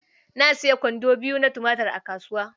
Na sayi kwando biyu na tumatur a kasuwa.